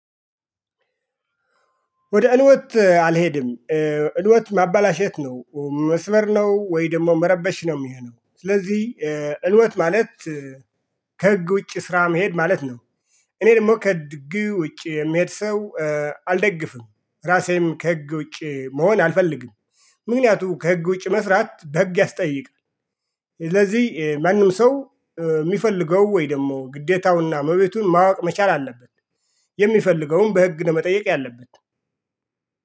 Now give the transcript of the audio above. ወደ እንወት አልሄድም። እንወት ማበላሸት ነው መስበር ነው ወይ ደግሞ መረበሽ ነው የሚሆነው። ስለዚህ እልወት ማለት ከህግ ውጪ ስራ መሄድ ማለት ነው። እኔ ደግሞ ከድግ ውጪ የምሄድ ሰው አልደግፍም። ራሴም ከህግ ውጪ መሆን አልፈልግም። ምክንያቱም ከህግ ውጪ መስራት በህግ ያስጠይቃል። ስለዚህ ማንም ሰው የሚፈልገው ወይ ደግሞ ግዴታውና መብቱን ማወቅ መቻል አለበት። የሚፈልገውን በህግ ነው መጠየቅ ያለበት።